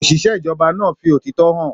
Òṣìṣẹ́ ìjọba náà fi òtítọ́ hàn.